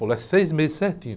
Ele falou, é seis meses certinho.